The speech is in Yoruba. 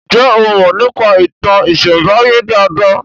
Njé o Mo nípa ìtàn isembaye dá dá?